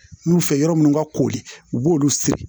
N y'u fɛ yɔrɔ minnu ka koori u b'olu siri